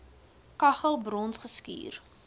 kaggel brons geskuur